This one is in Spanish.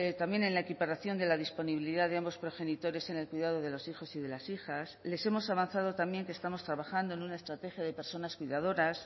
también en la equiparación de la disponibilidad de ambos progenitores en el cuidado de los hijos y de las hijas les hemos avanzado también que estamos trabajando en una estrategia de personas cuidadoras